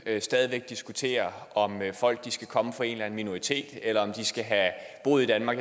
stadig væk diskuterer om folk skal komme fra en eller anden minoritet eller om de skal have boet i danmark